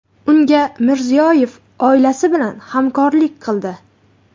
Unga Mirziyoyev oilasi bilan hamrohlik qildi.